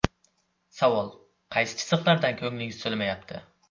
Savol: Qaysi chiziqlardan ko‘nglingiz to‘lmayapti?